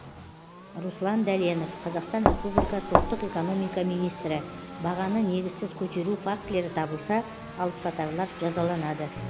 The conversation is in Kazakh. руслан дәленов қазақстан республикасы ұлттық экономика министрі бағаны негізсіз көтеру фактілері табылса алыпсатарлар жазаланады